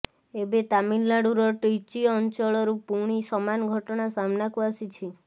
ଏବେ ତାମିଲନାଡୁର ର୍ଟିଚି ଅଞ୍ଚଳରୁ ପୁଣି ସମାନ ଘଟଣା ସାମ୍ନାକୁ ଆସିଛି